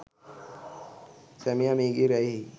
සැමියා මියගිය රැයෙහි